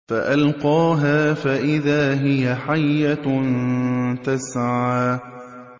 فَأَلْقَاهَا فَإِذَا هِيَ حَيَّةٌ تَسْعَىٰ